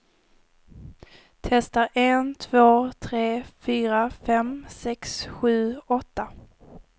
Testar en två tre fyra fem sex sju åtta.